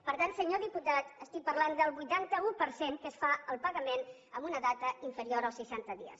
per tant senyor diputat estic parlant del vuitanta un per cent que es fa el pagament en una data inferior als seixanta dies